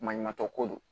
Maɲumantɔ ko do